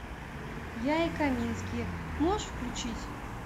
я и камински можешь включить